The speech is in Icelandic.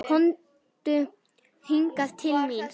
Komdu hingað til mín!